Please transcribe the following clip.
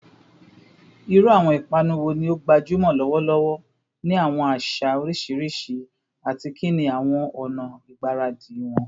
Iru awọn ipanu wo ni o gbajumọ lọwọlọwọ ni awọn aṣa oriṣiriṣi, ati kini awọn ọna igbaradi wọn?